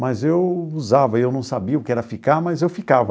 Mas eu usava, eu não sabia o que era ficar, mas eu ficava.